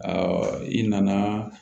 i nana